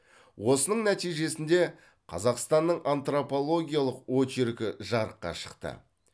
осының нәтижесінде қазақстанның антропологиялық очеркі жарыққа шықты